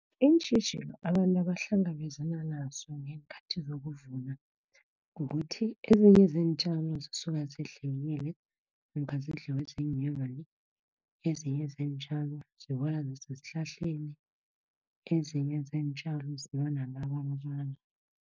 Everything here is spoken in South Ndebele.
Iintjhijilo abantu abahlangabezana nazo ngeenkhathi zokuvuna, kukuthi ezinye zeentjalo zisuka zidliwile namkha zidliwe ziinyoka ezinye zeentjalo ziwa nasesihlahleni, ezinye zeentjalo ziba